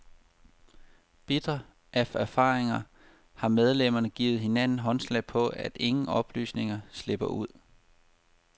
Bitre af erfaringer har medlemmerne givet hinanden håndslag på, at ingen oplysninger slipper ud.